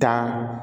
Tan